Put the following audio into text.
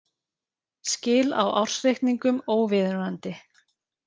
Skil á ársreikningum óviðunandi